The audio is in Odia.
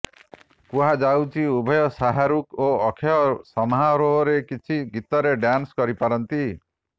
କୁହାଯାଉଛି ଉଭୟ ଶାହାରୁଖ ଓ ଅକ୍ଷୟ ସମାରୋହରେ କିଛି ଗୀତରେ ଡ୍ୟାନ୍ସ କରିପାରନ୍ତି